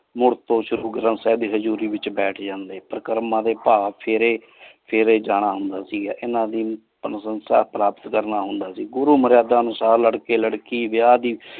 ਮੁਰ ਤੂ ਸ਼੍ਰੁਕ੍ਰਮ ਸਾਹਿਬ ਦੇ ਹਜੂਰੀ ਵਿਚ ਬੇਤਹ ਜਾਂਦੇ ਪਰ ਕਰਮ ਦਾ ਫੀਰੀ ਫੀਰੀ ਜਾਣਾ ਹੁੰਦਾ ਸੀਗਾ ਇਨੀ ਕਰਨਾ ਹੁੰਦਾ ਸੇ ਉਦੋ ਮਾਰ੍ਯਾਦਾਂ ਅਨੋਸਰ ਲਾਰ੍ਕ੍ਯ ਲਾਰ੍ਕੀ ਵਿਯਾਹ ਦੇ।